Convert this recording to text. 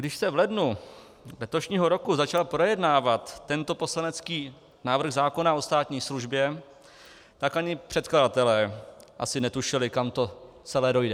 Když se v lednu letošního roku začal projednávat tento poslanecký návrh zákona o státní službě, tak ani předkladatelé asi netušili, kam to celé dojde.